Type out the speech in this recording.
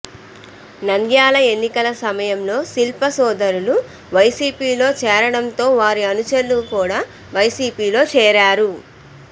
నంద్యాల ఎన్నికల సమయంలో శిల్పా సోదరులు వైసీపీలో చేరటంతో వారి అనుచరులు కూడా వైసీపీలో చేరారు